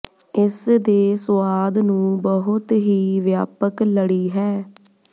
ਇਸ ਦੇ ਸੁਆਦ ਨੂੰ ਬਹੁਤ ਹੀ ਵਿਆਪਕ ਲੜੀ ਹੈ